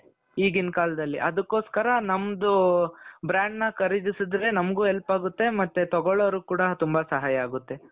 ಈಗಿನ ಕಾಲದಲ್ಲಿ ಅದಕ್ಕೋಸ್ಕರ ನಮ್ದು brandನ ಖರೀದಿಸಿದರೆ ನಮಗೂ help ಆಗುತ್ತೆ ಮತ್ತೆ ತಗೊಳ್ಲೋರಿಗೆ ಕೂಡಾ ತುಂಬಾ ಸಹಾಯ ಆಗುತ್ತೆ .